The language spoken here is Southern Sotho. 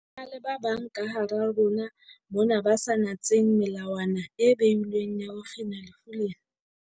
Ho na le ba bang kahara rona mona ba sa natseng melawana e beilweng ya ho kgina lefu lena.